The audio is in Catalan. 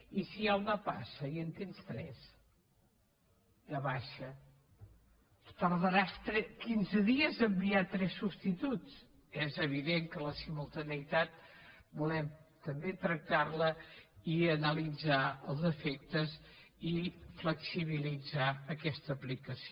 i si hi ha una passa i en tens tres de baixa tardaràs quinze dies a enviar tres substituts és evident que la simultaneïtat volem també tractar la i analitzar els efectes i flexibilitzar aquesta aplicació